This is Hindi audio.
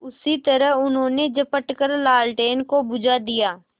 उसी तरह उन्होंने झपट कर लालटेन को बुझा दिया